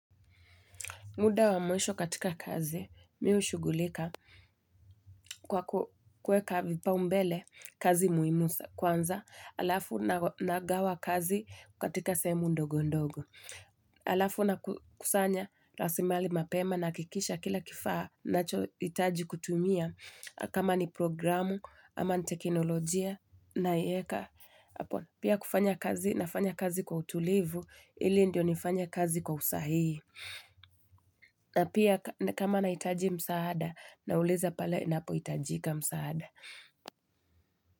Muda wa mwisho katika kazi mi hushugulika kwa kuweka vipa umbele kazi muhimu sa kwanza alafu nagawa kazi katika sehemu ndogo ndogo. Alafu na kusanya raslimali mapema nahakikisha kila kifaa nachohitaji kutumia kama ni programu ama ni teknolojia naieka. Pia kufanya kazi nafanya kazi kwa utulivu ili ndio nifanya kazi kwa usahihi. Na pia kama nahitaji msaada nauliza pale inapohitajika msaada.